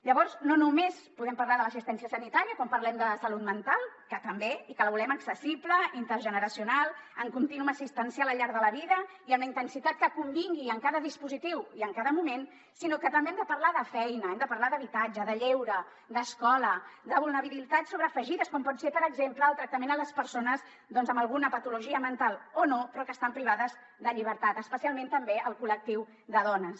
llavors no només podem parlar de l’assistència sanitària quan parlem de salut mental que també i que la volem accessible intergeneracional en continuum assistencial al llarg de la vida i amb la intensitat que convingui en cada dispositiu i en cada moment sinó que també hem de parlar de feina hem de parlar d’habitatge de lleure d’escola de vulnerabilitats sobreafegides com pot ser per exemple el tractament a les persones doncs amb alguna patologia mental o no però que estan privades de llibertat especialment també el col·lectiu de dones